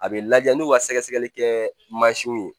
A bɛ lajɛ n'u ka sɛgɛsɛgɛli kɛ mansinw ye